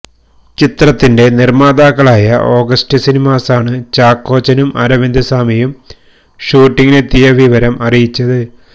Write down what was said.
ചിത്രത്തിന്റെ നിര്മ്മാതാക്കളായ ഓഗസ്റ്റ് സിനിമാസാണ് ചാക്കോച്ചനും അരവിന്ദ് സ്വാമിയും ഷൂട്ടിങ്ങിനെത്തിയ വിവരം അറിയിച്ചത്